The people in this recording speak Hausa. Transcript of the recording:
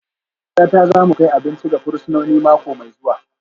Ni da matata za mu kai abinci ga fursunoni mako mai zuwa